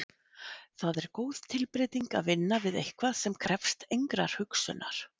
Það er góð tilbreyting að vinna við eitthvað sem krefst engrar hugsunar.